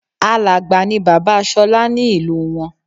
Àlágbáà ni bàbá Ṣọlá ní ìlú wọn